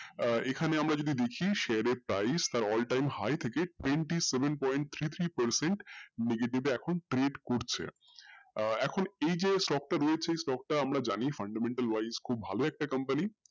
আহ এখানে আমরা যদি দেখি share এর price তার all time high থেকে twenty seven point three three percent তে এখন trade করছে আহ এখন এই যে stock টা রয়েছে stock টা আমরা জানি fundamendal wise খুব ভালো একটা company